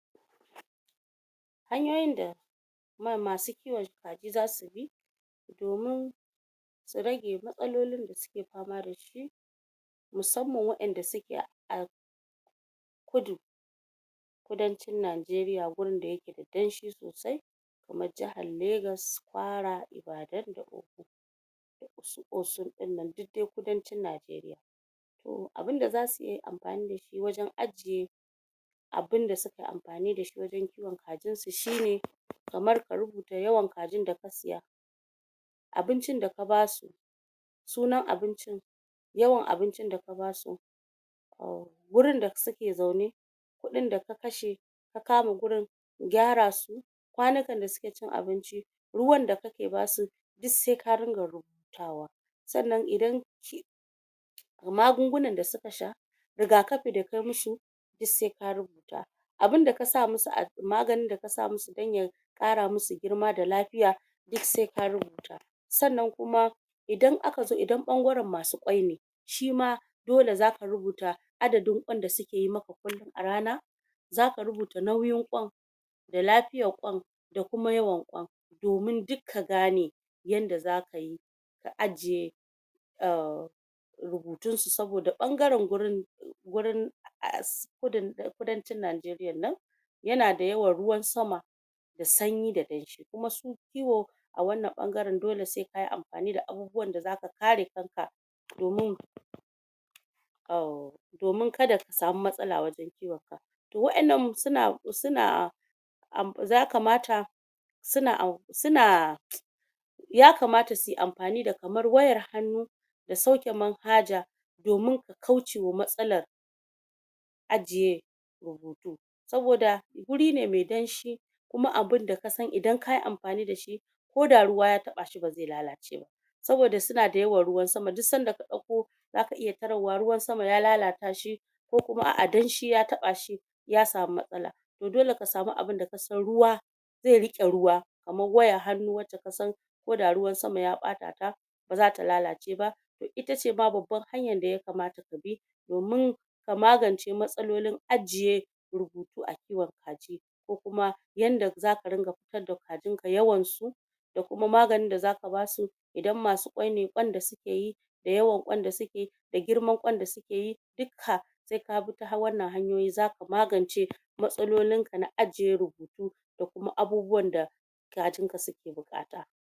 Hanyoyin da um masu kiwon kaji zasu bi domin su rage matsalolin da suke fama dashi musamman waƴanda suke a kudu kudancin Najeriya gurin da yake da danshi sosai, kaman jahar legas, kwara, ibadan dasu osun dinnan, duk dai kudanci Najeriya to abunda zasu ya amfani da shi wajen ajiye abinda suke amfani da shi wajen kiwon kajinsu shi ne kamar ka rubuta yawan kajin da ka siya abincin da ka ba su sunan abincin yawan abincin daka basu um gurin da suke zaune kudin daka kashe, ka kama gurin, gyarasu kwanukan da suke cin abinci ruwan da kake basu, duk sai ka ringa rubutawa, sannan idan magunguna da suka sha rigakafi da ka musu duk sai ka rubuta abunda ka sa musu a maganin da kasa musu dan ya Ƙara musu girma da lafiya duk sai ka rubuta sannan kuma idan aka zo, idan ɓangaren masu Ƙwai ne shima dole zaka rubuta adadin Ƙwan da suke yi maka kullun a rana zaka rubuta nauyin Ƙwan da lafiyan Ƙwan da kuma yawan kwan domin duk ka gane yanda zaka yi ka ajiye um rubutun su saboda bangaren gurin gurin um kudancin Najeriyan nan yana da yawan ruwan sama da sanyi da danshi kuma su kiwo a wannan bangaren dole sai kayi amfani da abubuwan da zaka kare kanka domin um domin kada ka sama matsala wajen kiwon kajin wa'annan suna suna um zaka mata suna suna ya kamata su yi amfani da kamar wayar hannu da sauƘe manhaja domin kauce wa matsalar ajiye rubuta saboda guri ne maɗe danshi kuma abinda kasan idan kayi amfani da shi ko da ruwa ya taɓa shi ba zai lalace ba saboda suna da yawan ruwan sama. duk sanda ka ɗauko suka iya tarar wa ruwan sama ya lalata shi ku kuma a'a danshi ya taɓa shi ya sama matsala to dole ka sama abin daka san ruwa zai riƙe ruwa kamar wayar hannu wacce kasan ko da ruwan sama ya ɓata ta ba zata lalace ba itace ma babbar hanyar daya kamata abi, domin a magance matsalolin ajiye rubutu a kiwon kaji ko kuma yanda zaka ringa fitar da kajin ka, yawan su da kuma maganin da zaka basu idan masu kwai ne kwan da suke yi da yawan kwan da suke yi da girman kwan da suke duka sai kabi ta wannan hanyoyi zaka magance matsaalolin ka na ajiye rubutu da kuma abubuwan da kajinka suke buƘata